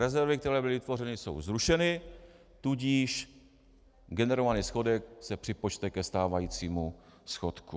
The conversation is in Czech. Rezervy, které byly vytvořeny, jsou zrušeny, tudíž generovaný schodek se připočte ke stávajícímu schodku.